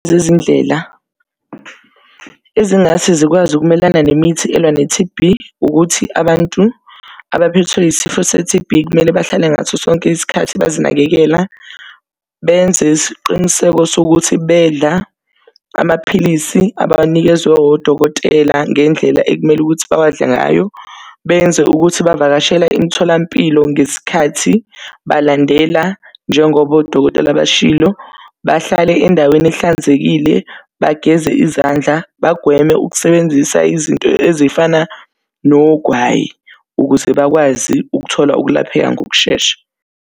Zezindlela ezingase zikwazi ukumelana nemithi elwa ne-T_B, ukuthi abantu abaphethwe isifo se-T_B, kumele bahlale ngaso sonke isikhathi bazinakekela, benze isiqiniseko sokuthi bedla amaphilisi abanikezwe odokotela ngendlela ekumele ukuthi bawadle ngayo. Benze ukuthi bavakashela imitholampilo ngesikhathi, balandela njengoba odokotela bashilo. Bahlale endaweni ehlanzekile, bageze izandla, bagweme ukusebenzisa izinto ezifana nogwayi, ukuze bakwazi ukuthola ukulapheka ngokushesha.